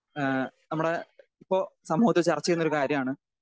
speaker 2 ഏഹ് നമ്മുടെ ഇപ്പൊ ഇപ്പോ സമൂഹത്തിൽ ചർച്ച ചെയ്യുന്നൊരു കാര്യമാണ്